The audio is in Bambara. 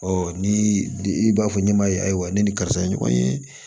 ni i b'a fɔ ɲɛmaa ye ayiwa ne ni karisa ye ɲɔgɔn ye